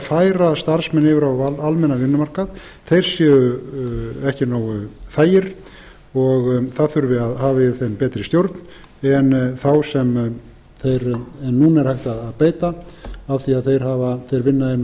færa starfsmenn yfir á almennan vinnumarkað þeir séu ekki nógu þægir og það þurfi að hafa yfir þeim betri stjórn en þá sem núna er hægt að beita af því þeir vinna